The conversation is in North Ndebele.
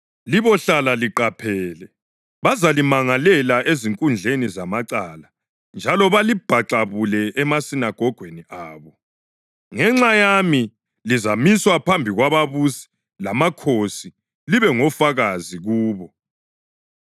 Libohlala liqaphele. Bazalimangalela ezinkundleni zamacala njalo balibhaxabule emasinagogweni abo. Ngenxa yami lizamiswa phambi kwababusi lamakhosi libe ngofakazi kubo.